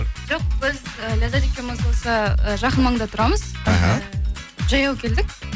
жоқ біз э ляззат екеуміз осы э жақын маңда тұрамыз іхі жаяу келдік